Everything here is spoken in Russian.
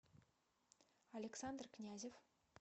александр князев